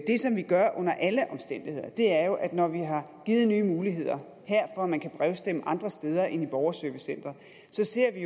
det som vi gør under alle omstændigheder er jo at når vi her har givet nye muligheder for at man kan brevstemme andre steder end i et borgerservicecenter så ser vi